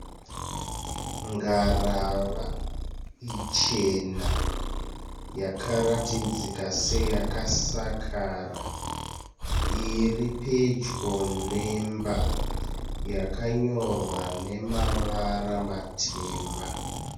Ngarava ichena yakaratidzika seyakasakara. Iri pedyo nemba yakanyorwa nemavara matema.